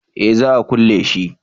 eh za a kulle shi